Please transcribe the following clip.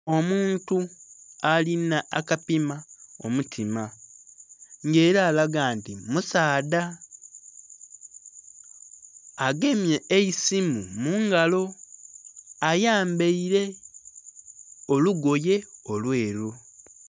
Omuntu alinha akapima omutima nga era alaga nti musaadha agemye eisimu mungalo ayambaile olugoye olweru.